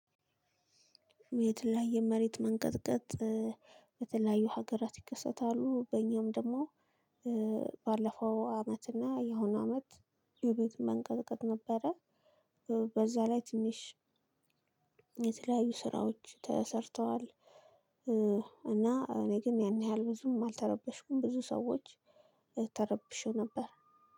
የተለያዩ መሬት መንቀጥቀጥ። በተለያዩ ሀገራት ይከሰታሉ በእኛም ደግሞ። ባለፈው አመት እና የሆነ አመት የመሬት መንቀጥቀጥ ነበረ። በዛ ላይ ትንሽ። የተለያዩ ስራዎች ተሰርተዋል። እና እኔ ግን ያን ያህል ብዙም አልተረበሽኩም ብዙ ሰዎች ተረብሸው ነበር።